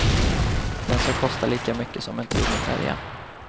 Den ska kosta lika mycket som en tur med färjan.